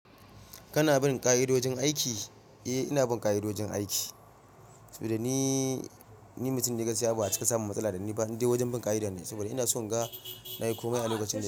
Kana bin ƙa'idojin aiki? Eh, ina bin ƙa'idojin aiki saboda ni, ni mutum da ya gasi abu a cika samu matsala da ni ba. Ni dai wajen bin ƙa'ida ne saboda ina so in ga na yi komai a lokacin da.